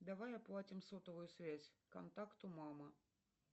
давай оплатим сотовую связь контакту мама